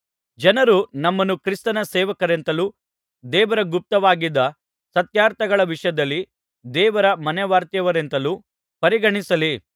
ಜನರು ನಮ್ಮನ್ನು ಕ್ರಿಸ್ತನ ಸೇವಕರೆಂತಲೂ ದೇವರ ಗುಪ್ತವಾಗಿದ್ದ ಸತ್ಯಾರ್ಥಗಳ ವಿಷಯದಲ್ಲಿ ದೇವರ ಮನೆವಾರ್ತೆಯವರೆಂತಲೂ ಪರಿಗಣಿಸಲಿ